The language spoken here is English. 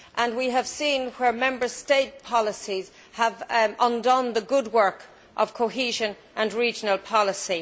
We have seen where Member State policies have undone the good work of cohesion and regional policy.